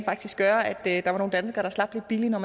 faktisk gøre at der var nogle danskere der slap lidt billigt når